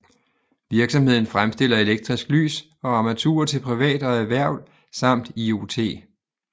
Virksomheden fremstiller elektrisk lys og armaturer til privat og erhverv samt IoT